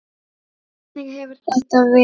Hvernig hefur þetta verið?